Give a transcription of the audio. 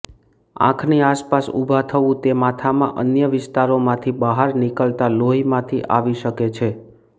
આંખની આસપાસ ઉભા થવું તે માથામાં અન્ય વિસ્તારોમાંથી બહાર નીકળતા લોહીમાંથી આવી શકે છે